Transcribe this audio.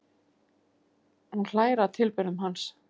Hún hlær að tilburðum hans.